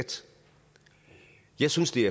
jeg synes det